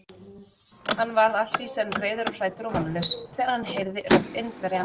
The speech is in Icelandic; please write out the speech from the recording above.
Hann varð allt í senn reiður og hræddur og vonlaus, þegar hann heyrði rödd Indverjans.